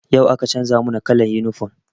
Yau aka canza mana kallan yunifom